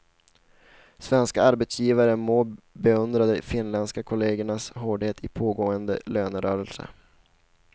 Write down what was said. Svenska arbetsgivare må beundra de finländska kollegernas hårdhet i pågående lönerörelse.